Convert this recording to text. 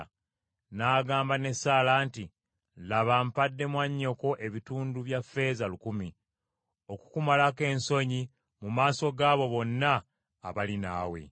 N’agamba ne Saala nti, “Laba mpadde mwannyoko ebitundu bya ffeeza lukumi, okukumalako ensonyi mu maaso gaabo bonna abali naawe.”